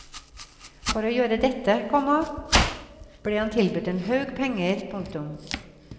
For å gjøre dette, komma blir han tilbudt en haug penger. punktum